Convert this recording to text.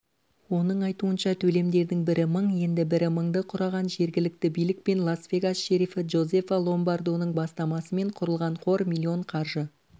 оның айтуынша төлемдердің бірі мың енді бірі мыңды құраған жергілікті билік пен лас-вегас шерифі джозефа ломбардоның бастамасымен құрылған қор миллион қаржы